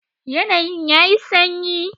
Yanayin yayi sanyi.